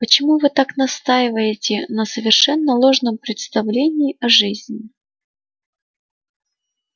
почему вы так настаиваете на совершенно ложном представлении о жизни